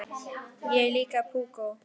Hún er líka púkó.